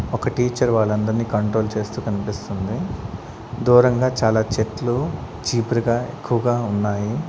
ఒక టీచర్ వాళ్ళందర్నీ కంట్రోల్ చేస్తూ కనిపిస్తుంది దూరంగా చాలా చెట్లు జిబురుగా ఎక్కువగా ఉన్నాయి.